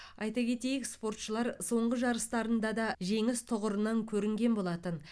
айта кетейік спортшылар соңғы жарыстарында да жеңіс тұғырынан көрінген болатын